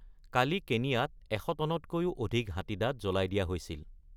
কালি কেনিয়াত এশ টনতকৈ অধিক হাতীদাঁত জ্বলাই দিয়া হৈছিল।